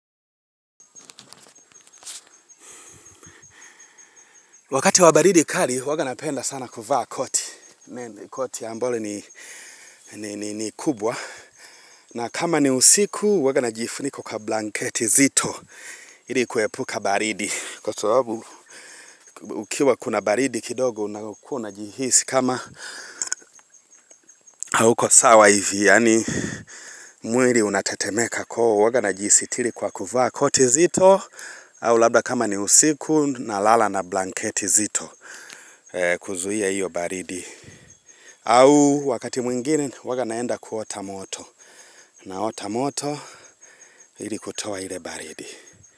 Wakati wa baridi kali, huwanga napenda sana kuvaa koti. Koti ambalo ni kubwa. Na kama ni usiku, huwanga najifunika kwa blanketi zito. Ili kuepuka baridi. Kwa sababu ukiwa kuna baridi kidogo, unakuwa unajihisi kama hauko sawa hivi. Yaani mwili unatetemeka kwa hivyo huwa najisitiri kwa kuvaa koti zito. Au labda kama ni usiku, nalala na blanketi zito. Kuzuia hio baridi au au wakati mwingine huwanga naenda kuota moto naota moto ili kutoa ile baridi.